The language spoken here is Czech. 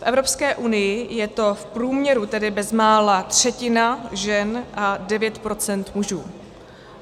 V Evropské unii je to v průměru tedy bezmála třetina žen a 9 % mužů.